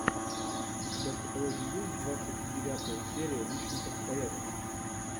у тебя в каталоге есть двадцать девятая серия личных обстоятельств